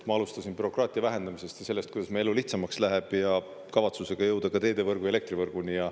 Ma alustasin bürokraatia vähendamisest ja sellest, kuidas me elu lihtsamaks läheb, ja kavatsusega jõuda ka teedevõrgu ja elektrivõrguni.